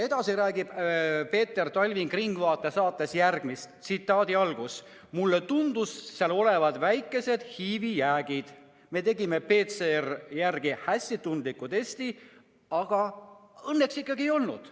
Edasi räägib Peep Talving saates "Ringvaade", et talle tundus olevat väheke HIV-i jääke, misjärel tehti talle PCR-i järgi hästi tundlik test ning õnneks HIV-i ikkagi ei olnud.